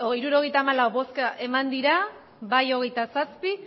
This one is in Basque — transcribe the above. hirurogeita hamalau bai hogeita zazpi